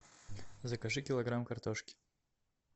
закажи килограмм картошки